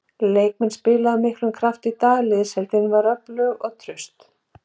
Heimamenn spiluðu af miklum krafti í dag, liðsheildin var öflug og traust.